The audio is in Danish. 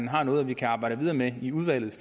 har noget vi kan arbejde videre med i udvalget